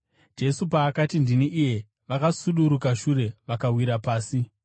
Jesu paakati, “Ndini iye,” vakasudurukira shure vakawira pasi.